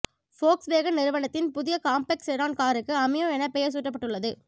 Volkswagen நிறுவனத்தின் புதிய compact sedan காருக்கு அமியோ என பெயர் சூட்டபட்டுள்ளது